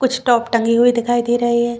कुछ टॉप टँगी हुई दिखाई दे रही है।